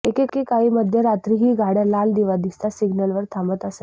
एके काळी मध्यरात्रीही गाडय़ा लाल दिवा दिसताच सिग्नलवर थांबत असत